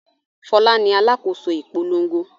Fọlá ni alákòóso ìpolongo.